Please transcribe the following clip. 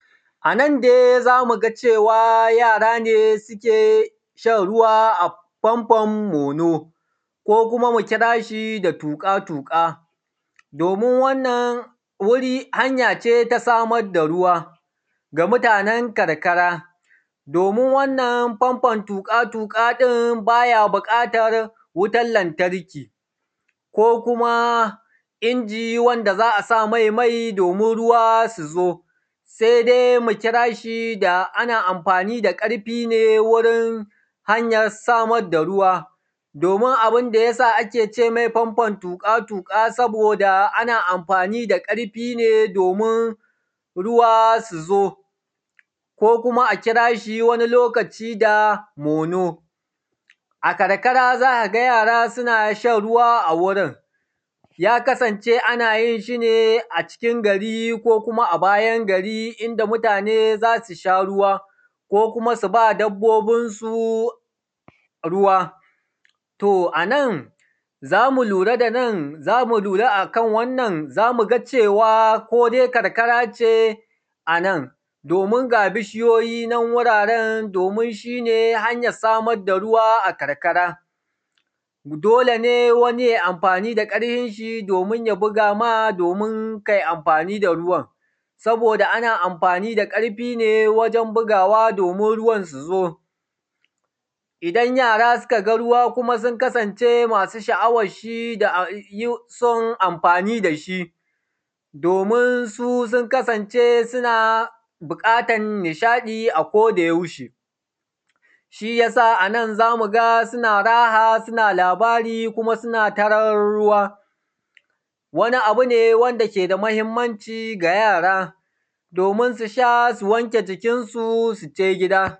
A nan dai zamuga cewa yara ne suke shan ruwa a famfon mono ko kuma mu kirashi da tuƙa tuƙa, domin wannan hanyace ta samar da ruwa ga mutanen karkara, domin wannan famfon tuƙa tuƙa ɗin baya buƙatan wutan lantarki ko kuma inji wanda za’a samai mai domin ruwa yazo. Sai dai mukirashi da ana amfani da ƙarfi ne wurin hanyar samar da ruwa domin abunda yasa akece mai fanfaon tuƙa tuƙa. Saboda ana amfani da ƙarfi ne domin ruwa suzo ko kuma a kirashi wani lokaci da mono, a karkara za’aga yara sunshan ruwa a gurin ya kasance anayin shine a cikin gari ko kuma abayan gari inda mutane zasusha ruwa ko kuma suba dabbobin su ruwa. To anan zamu lura danan zamu lura akan wannan cewa ko dai akarkarace anan Domin ga bishiyoyinan hanyan wuraren domin shine hanyoyin samar da ruwa a karkara, dolene wani yai amfani da ƙarhinshi domin ya bugama domin kai amfani da ruwan saboda ana amfani da ƙarhine waren bugawa domin ruwan suzo. Idan yara sukaga kuma sun kasance masu sha’awarshi dason amfani dashi dominsu sun kasance suna buƙatan nishaɗi a koda yaushe, shiyasa anan zamuga suna raha, suna nishaɗi, suna taran ruwa wani abune wanda keda mahimmanci ga yara domin susha su wanke jikinsu sije gida.